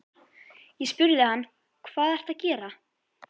Ég spurði hann: Hvað ertu að gera?